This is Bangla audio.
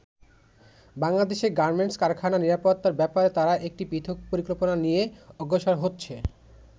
বাংলাদেশের গার্মেন্টস কারখানার নিরাপত্তার ব্যাপারে তারা একটি পৃথক পরিকল্পনা নিয়ে অগ্রসর হচ্ছে।